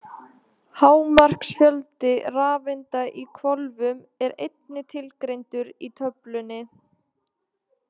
Hámarksfjöldi rafeinda í hvolfum er einnig tilgreindur í töflunni.